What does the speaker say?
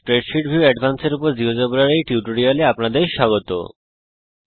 spreadsheet view advanced এর উপর জীয়োজেব্রার এই টিউটোরিয়াল এ আপনাদের স্বাগত জানাই